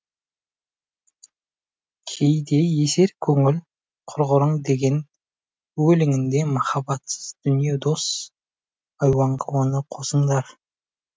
кейде есер көңіл құрғырың деген өлеңінде махаббатсыз дүние дос айуанға оны қосыңдар